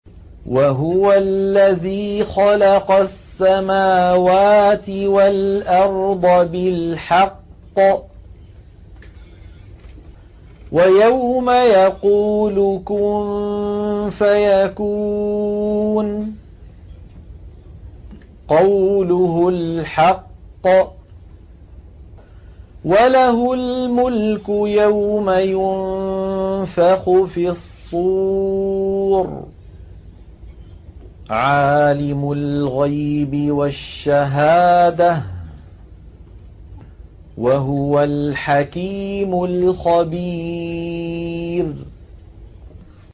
وَهُوَ الَّذِي خَلَقَ السَّمَاوَاتِ وَالْأَرْضَ بِالْحَقِّ ۖ وَيَوْمَ يَقُولُ كُن فَيَكُونُ ۚ قَوْلُهُ الْحَقُّ ۚ وَلَهُ الْمُلْكُ يَوْمَ يُنفَخُ فِي الصُّورِ ۚ عَالِمُ الْغَيْبِ وَالشَّهَادَةِ ۚ وَهُوَ الْحَكِيمُ الْخَبِيرُ